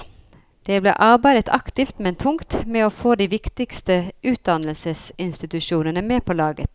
Det ble arbeidet aktivt, men tungt, med å få de viktigste utdannelsesinstitusjonene med på laget.